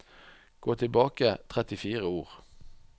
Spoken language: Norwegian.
Gå tilbake trettifire ord